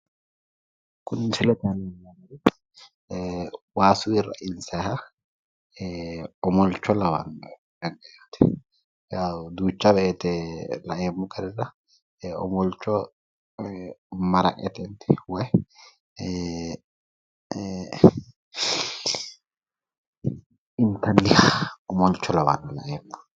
Kunu misilete aana leellaahu waasuyi rainssanniha omolcho lawannoe. duucha wooyite omolcho maraqetenni woyi inttanniha omolcho, lawannoe laeemmo woyite.